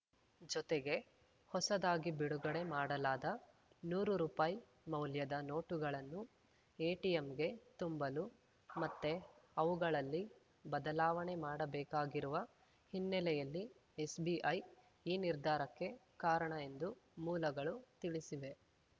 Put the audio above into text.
ಜೊತೆಗೆ ಹೊಸದಾಗಿ ಬಿಡುಗಡೆ ಮಾಡಲಾದ ನೂರು ರುಪಾಯಿಮೌಲ್ಯದ ನೋಟುಗಳನ್ನು ಎಟಿಎಂಗೆ ತುಂಬಲು ಮತ್ತೆ ಅವುಗಳಲ್ಲಿ ಬದಲಾವಣೆ ಮಾಡಬೇಕಾಗಿರುವ ಹಿನ್ನೆಲೆಯಲ್ಲಿ ಎಸ್‌ಬಿಐ ಈ ನಿರ್ಧಾರಕ್ಕೆ ಕಾರಣ ಎಂದು ಮೂಲಗಳು ತಿಳಿಸಿವೆ